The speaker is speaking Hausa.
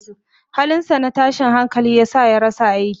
Halinsa na tashin hankali ya sa ya rasa aikin.